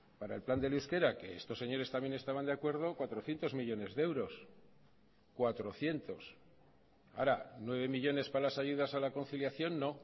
para el plan del euskera que estos señores también estaban de acuerdo cuatrocientos millónes de euros cuatrocientos ahora nueve millónes para las ayudas a la conciliación no